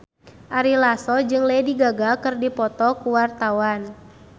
Ari Lasso jeung Lady Gaga keur dipoto ku wartawan